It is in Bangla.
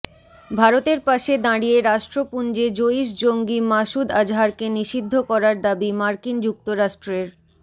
ভারতের পাশে দাঁড়িয়ে রাষ্ট্রপুঞ্জে জঈশ জঙ্গি মাসুদ আজহারকে নিষিদ্ধ করার দাবি মার্কিন যুক্তরাষ্ট্রের